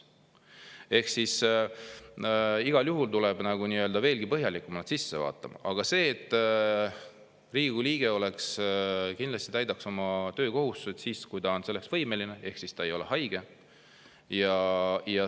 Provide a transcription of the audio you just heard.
Igal juhul tuleb veelgi põhjalikumalt vaadata, et Riigikogu liige kindlasti täidaks oma töökohustused siis, kui ta on selleks võimeline ehk ta ei ole haige.